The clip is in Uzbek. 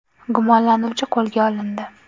Gumonlanuvchi qo‘lga olindi.